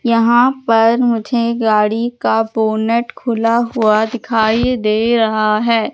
यहां पर मुझे गाड़ी का बोनेट खुला हुआ दिखाई दे रहा है।